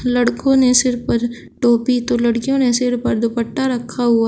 लड़कों ने सिर पर टोपी तो लड़कियों ने सिर पर दुपट्टा रखा हुआ--